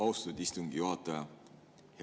Austatud istungi juhataja!